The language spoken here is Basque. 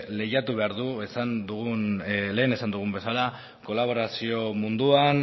lehiatu behar du lehen esan dugun bezala kolaborazio munduan